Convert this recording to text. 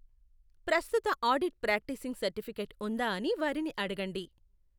ప్రస్తుత audit practising certificate ఉందా అని వారిని అడగండి.